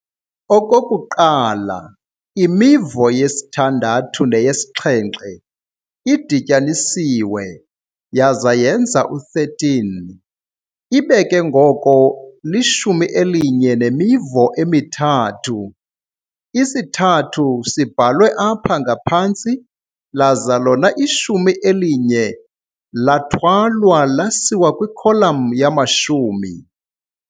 Okokuqala imivo yesi-6 neyesi-7 idityanisiwe yaza yenza u-13, ibe ke ngoko lishumi eli-1 nemivo emi-3, isi-3 sibhalwe apha ngaphantsi laza lona ishumi eli-1 lathwalwa lasiwa kwikholum yamashumi.